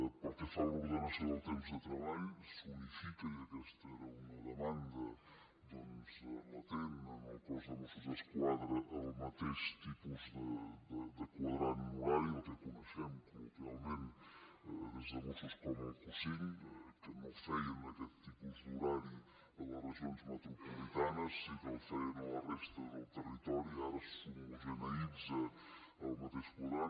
pel que fa a l’ordenació del temps de treball s’unifica i aquesta era una demanda doncs latent en el cos de mossos d’esquadra el mateix tipus de quadrant horari el que coneixem col·loquialment des de mossos com el q5 que no feien aquest tipus d’horari a les regions metropolitanes sí que el feien a la resta del territori ara s’homogeneïtza el mateix quadrant